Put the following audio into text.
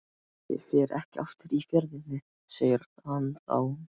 Ég fer ekki aftur í Fjörðinn, segir hann þá.